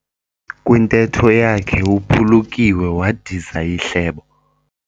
Kwintetho yakhe uphulukiwe wadiza ihlebo.